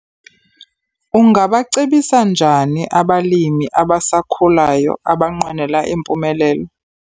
Ungabacebisa njani abalimi abasakhulayo abanqwenela impumelelo?